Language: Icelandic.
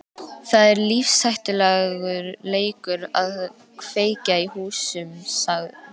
Það er lífshættulegur leikur að kveikja í húsum sagði